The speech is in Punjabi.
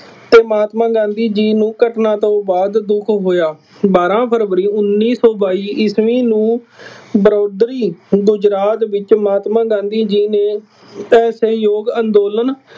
ਅਤੇ ਮਹਾਤਮਾਂ ਗਾਂਧੀ ਜੀ ਨੰ ਘਟਨਾ ਤੋਂ ਬਾਅਦ ਦੁੱਖ ਹੋਇਆ। ਬਾਰਾਂ ਫਰਵਰੀ ਉੱਨੀ ਸੌ ਬਾਈ ਈਸਵੀ ਨੂੰ ਬਰੋਦਰੀ ਗੁਜਰਾਤ ਵਿੱਚ ਮਹਾਤਮਾ ਗਾਂਧੀ ਜੀ ਨੇ ਸਹਿਯੋਗ ਅੰਦੋਲਨ